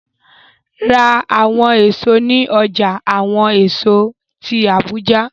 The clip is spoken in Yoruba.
Ra awọn eso ni ọja awọn eso ti Abuja!